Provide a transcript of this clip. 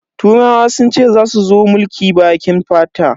Turawa sun ce zasu zo su mulki bakin fata.